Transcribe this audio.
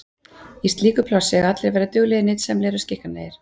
Í slíku plássi eiga allir að vera duglegir, nytsamlegur og skikkanlegir.